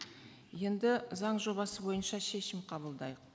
енді заң жобасы бойынша шешім қабылдайық